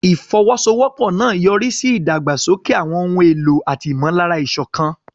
Ìfọwọ́sowọ́pọ̀ náà yọrí sí ìdàgbàsókè àwọn ohun èlò àti ìmọ̀lára ìṣọ̀kan.